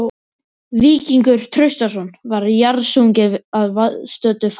Víkingur Traustason var jarðsunginn að viðstöddu fámenni.